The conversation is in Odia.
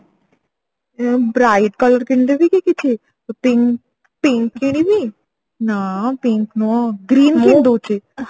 ଉଁ bright color କିଣିଦେବି କି କିଛି pink pink କିଣିବି ନା pink ନୁହଁ